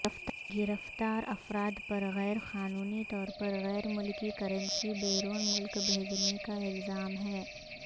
گرفتار افراد پر غیرقانونی طور پر غیرملکی کرنسی بیرون ملک بھیجنے کا الزام ہے